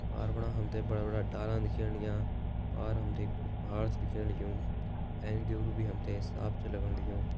पार बणा हमते बड़ा-बड़ा डालन दिख्येण लाग्यां पार हमते एक बडू पहाड़ छ दिख्येण लग्यूं एैंक दुयूरु भी हमते साफ़ छ लगण लगयूं।